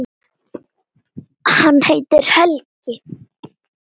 Hann heitir Helgi.